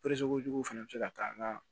jugu fana be se ka k'an ka